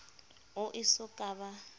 o e so ka ba